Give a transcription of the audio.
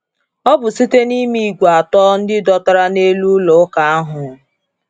Ọ bụ site n’ime ígwè atọ ndị dọtara n’elu ụlọ ụka ahụ.